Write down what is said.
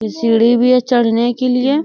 ये सीढ़ी भी है चढ़ने के लिए।